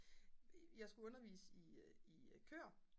jeg skulle undervise i køer